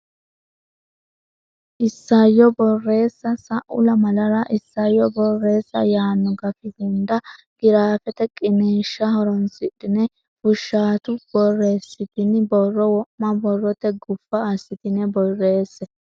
Isayyo Borreessa Sa u lamalara isayyo borreessa yaanno gafi hunda giraafete qiniishsha horonsidhine fushshaatu borreessitini borro wo ma borrote guffa assitine borreesse.